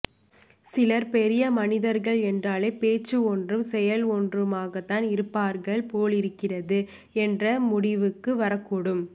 சிலர் பெரிய மனிதர்கள் என்றாலே பேச்சி ஒன்றும் செயல் ஒன்றுமாகத்தான் இருப்பார்கள் போலிருக்கிறது என்ற முடிவுக்கும் வரக்கூடும்